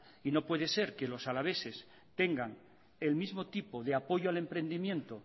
y no puede ser que los alaveses tengan el mismo tipo de apoyo al emprendimiento